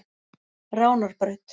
Ránarbraut